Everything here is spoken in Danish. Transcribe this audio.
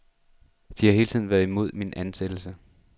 De har hele tiden været imod min ansættelse.